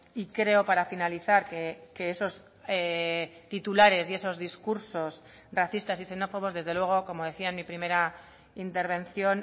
y creo para finalizar que esos titulares racistas y xenófobos desde luego como decía en mi primera intervención